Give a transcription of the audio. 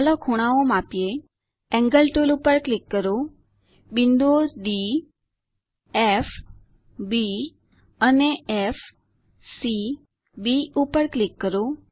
ચાલો ખૂણાઓ માપીએ એન્ગલ ટુલ પર ક્લિક કરો બિંદુઓ ડી ફ બી અને ફ સી બી પર ક્લિક કરો